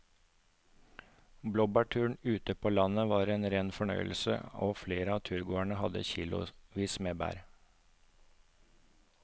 Blåbærturen ute på landet var en rein fornøyelse og flere av turgåerene hadde kilosvis med bær.